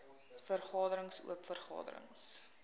vergaderings oop vergaderings